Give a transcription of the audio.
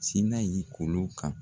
Se n'a ye golo kan.